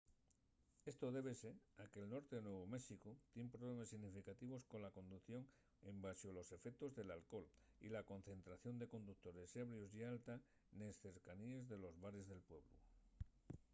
esto débese a que’l norte de nuevu méxicu tien problemes significativos cola conducción embaxo los efectos del alcohol y la concentración de conductores ebrios ye alta nes cercaníes de los bares de pueblu